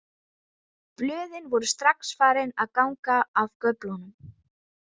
Blöðin voru strax farin að ganga af göflunum.